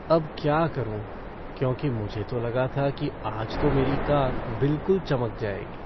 अब क्या करूं, क्योंकि मुझे तो लगा था कि आज तो मेरी कार बिलकुल चमक जाएगी।